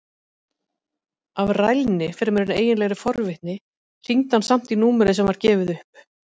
Af rælni fremur en eiginlegri forvitni hringdi hann samt í númerið sem gefið var upp.